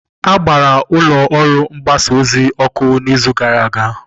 A gbara ụlọ ọrụ mgbasa ozi ọkụ n'izu gara aga.